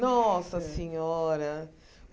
Nossa Senhora!